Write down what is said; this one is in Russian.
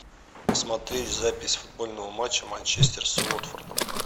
посмотреть запись футбольного матча манчестер с уотфордом